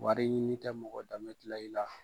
Warɲini tɛ mɔgɔ danbe tila i la.